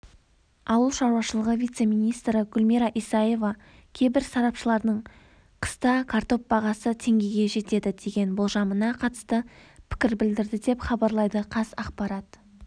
ауыл шаруашылығы вице-министрі гүлмира исаева кейбір сарапшылардың қыста картоп бағасы теңгеге жетеді деген болжамына қатысты пікір білдірді деп хабарлайды қазақпарат